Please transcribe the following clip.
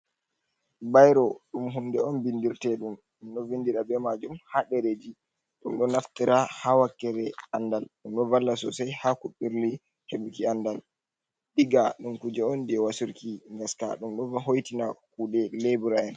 bairo dum hunde on bindirtedum, dum do vindira be majum ha dereji ,dum do naftira ha wakere andal ,dum do valla sosai ha ku birli hebuki andal. diga dum kuje on jewa surki gaska ,dum do hoitina kude lebura'en.